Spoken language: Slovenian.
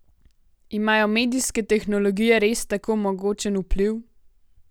Imajo medijske tehnologije res tako mogočen vpliv?